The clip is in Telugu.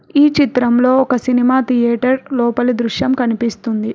ఈ చిత్రంలో ఒక సినిమా థియేటర్ లోపలి దృశ్యం కనిపిస్తుంది.